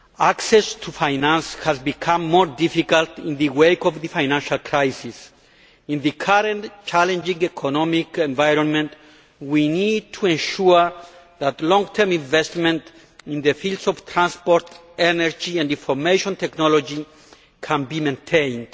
Access to finance has become more difficult in the wake of the financial crisis. In the current challenging economic environment, we need to ensure that long term investment in the fields of transport, energy and information technology can be maintained.